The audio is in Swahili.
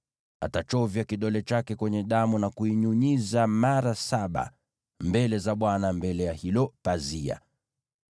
Atachovya kidole chake kwenye damu na kuinyunyiza mara saba mbele za Bwana mbele ya hilo pazia.